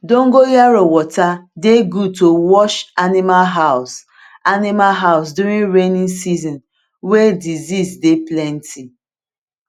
dogonyaro water dey good to wash animal house animal house during rainy season wey disease dey plenty